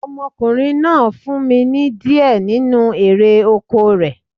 Ọmọkùnrin náà fún mi ní di ẹ nínu erè oko rẹ̀